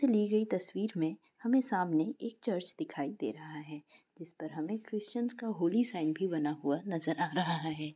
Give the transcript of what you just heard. ली गई तस्वीर में हमें सामने एक चर्च दिखाई दे रहा है जिस पर हमें क्रिश्चियन का होली साइन भी बना हुआ नज़र आ रह है।